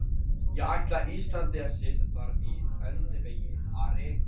Ég ætla Íslandi að sitja þar í öndvegi, Ari!